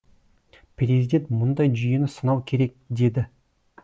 президент мұндай жүйені сынау керек деді